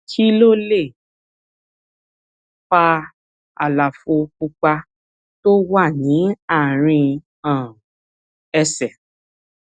kí ló lè fa àlàfo pupa tó wà ní àárín um ẹsè